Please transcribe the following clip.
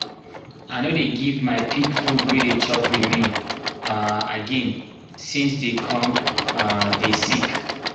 i no dey give my pig food wey dey chop remain um again since dey come um dey sick